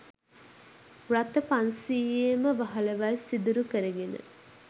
රථ පන්සීයේම වහලවල් සිදුරු කරගෙන